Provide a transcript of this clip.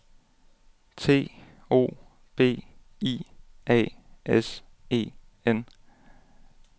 T O B I A S E N